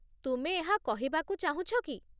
ତୁମେ ଏହା କହିବାକୁ ଚାହୁଁଛ କି?